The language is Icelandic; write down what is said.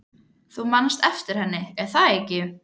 Þú manst eftir henni, er það ekki?